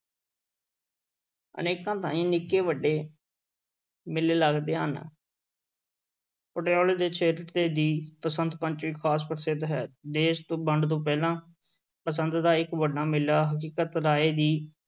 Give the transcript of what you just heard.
ਅਨੇਕਾਂ ਥਾਂਈਂ ਨਿੱਕੇ-ਵੱਡੇ ਮੇਲੇ ਲੱਗਦੇ ਹਨ ਪਟਿਆਲੇ ਤੇ ਛੇਹਰਟੇ ਦੀ ਬਸੰਤ ਪੰਚਮੀ ਖ਼ਾਸ ਪ੍ਰਸਿੱਧ ਹੈ, ਦੇਸ ਤੋਂ ਵੰਡ ਤੋਂ ਪਹਿਲਾਂ ਬਸੰਤ ਦਾ ਇੱਕ ਵੱਡਾ ਮੇਲਾ ਹਕੀਕਤ ਰਾਏ ਦੀ